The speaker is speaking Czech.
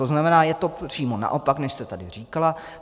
To znamená, je to přímo naopak, než jste tady říkala.